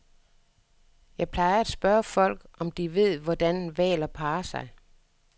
Jeg plejer at spørge folk, om de ved, hvordan hvaler parrer sig.